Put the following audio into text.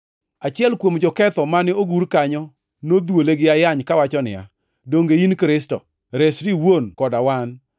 Achiel kuom joketho mane ogur kanyo nodhuole gi ayany kowacho niya, “Donge in Kristo? Resri iwuon koda wan!”